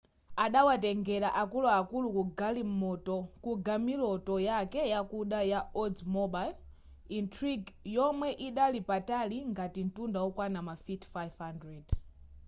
adawatengera akuluakulu ku gamiloto yake yakuda ya oldsmobile intrigue yomwe idali patali ngati mtunda okwana mafiti 500